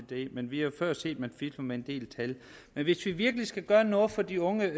det men vi har jo før set at man har fiflet med en del tal men hvis vi virkelig skal gøre noget for de unge